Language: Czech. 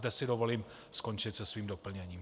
Zde si dovolím skončit se svým doplněním.